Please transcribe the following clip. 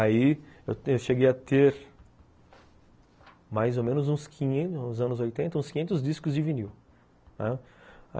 Aí eu cheguei a ter mais ou menos uns quinhentos, nos anos oitenta, uns quinhentos discos de vinil.